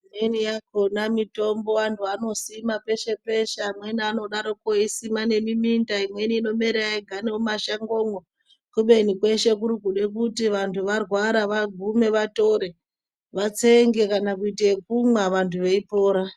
Imweni yakona mitombo vantu vano sima peshe peshe amweni anodaroko eyi sima nge muminda imweni ino mera yega mu mashango mwo kubeni kweshe kurikuda kuti antu arwara vagume vatore vatsenge kana kuite yekumwa vantu vei pora.